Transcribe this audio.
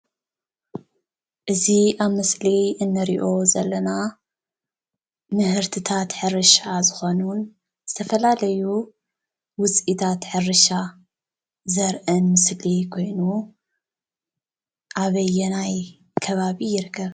እዚ ኣብ ምስሊ እንሪኦ ዘለና ምህርትታት ሕርሻ ዝኮኑን ዝተፈላለዩ ውፅኢታት ሕርሻ ዘርኢ ምስሊ ኮይኑ ኣበየናይ ከባቢ ይርከብ?